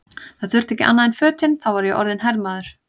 Það þurfti ekki annað en fötin, þá var ég orðinn hermaður!